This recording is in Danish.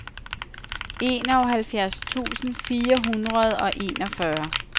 enoghalvfjerds tusind fire hundrede og enogfyrre